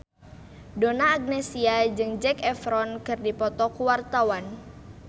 Donna Agnesia jeung Zac Efron keur dipoto ku wartawan